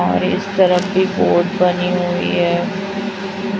और इस तरफ भी पोर्ट बनी हुई है।